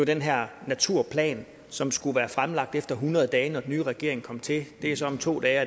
den her naturplan som skulle være fremlagt efter hundrede dage når den nye regering kom til det er så om to dage